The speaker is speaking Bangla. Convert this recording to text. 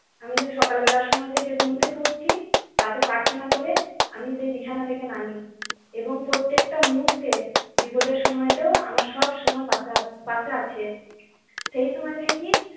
আমি যে সকাল বেলা সময় থেকে ঘুম থেকে উঠছি, তাকে প্রার্থনা করে। আমি যেই বিছানা থেকে নামি এবং প্রত্যেকটা মুহূর্তে বিপদের সময় তো আমার সব সময় পাশে আছে পাশে আছে। সেই সময় থেকেই